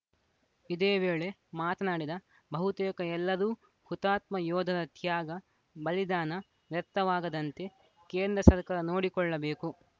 ಇದೇ ವೇಳೆ ಮಾತನಾಡಿದ ಬಹುತೇಕ ಎಲ್ಲರೂ ಹುತಾತ್ಮ ಯೋಧರ ತ್ಯಾಗ ಬಲಿದಾನ ವ್ಯರ್ಥವಾಗದಂತೆ ಕೇಂದ್ರ ಸರ್ಕಾರ ನೋಡಿಕೊಳ್ಳಬೇಕು